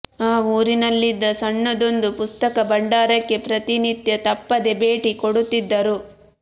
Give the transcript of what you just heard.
ಆ ಊರಿನಲ್ಲಿದ್ದ ಸಣ್ಣದೊಂದು ಪುಸ್ತಕ ಭಂಡಾರಕ್ಕೆ ಪ್ರತಿನಿತ್ಯ ತಪ್ಪದೆ ಭೇಟಿ ಕೊಡುತ್ತಿದ್ದರು